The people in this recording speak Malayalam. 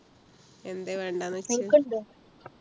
എന്തെ വേണ്ടാ ന്നു വെച്ചേ